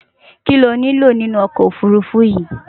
Kíni o nílò nínu okò ofurufu yí?